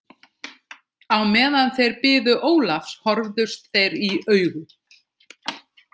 Á meðan þeir biðu Ólafs horfðust þeir í augu.